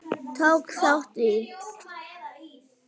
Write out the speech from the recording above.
Martin, tók þátt í.